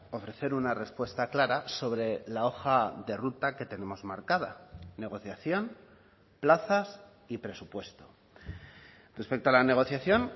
ofrecer una respuesta clara sobre la hoja de ruta que tenemos marcada negociación plazas y presupuesto respecto a la negociación